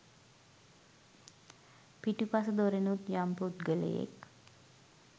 පිටුපස දොරෙනුත් යම් පුද්ගලයෙක්